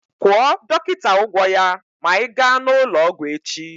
Kwụọ dọkịta ụgwọ ya ma ị gaa n'ụlọọgwụ echi!